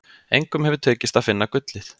Engum hefur tekist að finna gullið.